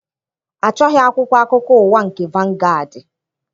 Achọghị akwụkwọ akụkọ ụwa nke vangaadị.